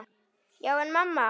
Já, en mamma.!